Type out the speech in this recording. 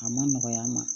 A ma nɔgɔya n ma